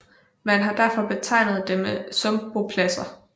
Man har derfor betegnet dem sumpbopladser